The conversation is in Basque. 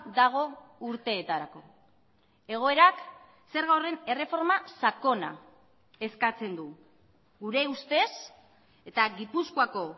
dago urteetarako egoerak zerga horren erreforma sakona eskatzen du gure ustez eta gipuzkoako